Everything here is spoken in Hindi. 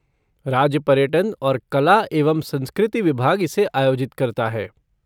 राज्य पर्यटन और कला एवं संस्कृति विभाग इसे आयोजित करता है।